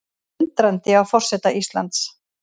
Undrandi á forseta Íslands